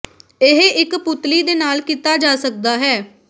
ਇਹ ਇੱਕ ਪੁਤਲੀ ਦੇ ਨਾਲ ਕੀਤਾ ਜਾ ਸਕਦਾ ਹੈ